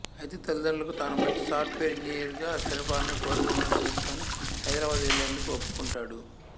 అయితే తల్లిదండ్రులకు తాను మంచి సాఫ్ట్ వేర్ ఇంజినీర్ గా స్థిరపడాలని కోరిక ఉందని తెలుసుకుని హైదరబాద్ వెళ్ళేందుకు ఒప్పుకుంటాడు